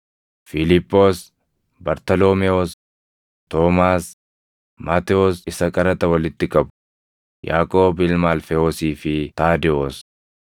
Fiiliphoos, Bartaloomewoos, Toomaas, Maatewos isa qaraxa walitti qabu, Yaaqoob ilma Alfewoosii fi Taadewoos,